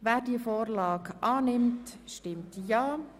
Wer diese Vorlage annimmt, stimmt Ja.